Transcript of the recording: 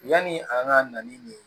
Yani an ka na ni nin ye